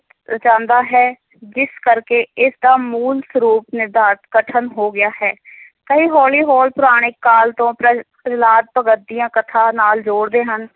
ਰਚਾਂਦਾ ਹੈ, ਜਿਸ ਕਰਕੇ ਇਸਦਾ ਮੂਲ ਸਰੂਪ ਨਿਰਧਾਰਤ ਕਠਨ ਹੋ ਗਿਆ ਹੈ ਕਈ ਹੋਲੀ ਹੋਰ ਪੁਰਾਣਿਕ ਕਾਲ ਤੋਂ ਪ੍ਰਹਿ~ ਪ੍ਰਹਿਲਾਦ ਭਗਤ ਦੀਆਂ ਕਥਾ ਨਾਲ ਜੋੜਦੇ ਹਨ।